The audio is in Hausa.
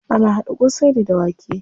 Ana haɗa ƙosai ne da wake.